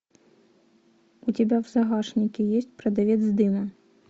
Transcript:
у тебя в загашнике есть продавец дыма